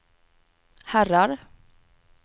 herrar